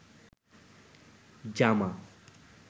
জামা